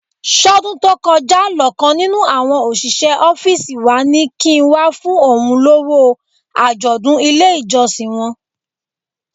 Ṣọ́dún tó kọjá lọ̀kan nínú àwọn òṣìṣẹ́ ọ́fíìsì wa ní kí n wá fún òun lówó àjọ̀dún ilé ìjọsìn wọn?